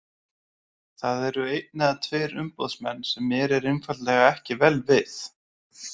Það eru einn eða tveir umboðsmenn sem mér er einfaldlega ekki vel við.